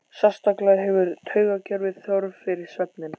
Sérstaklega hefur taugakerfið þörf fyrir svefninn.